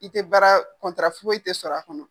I tɛ baara foyi tɛ sɔrɔ a kɔnɔ.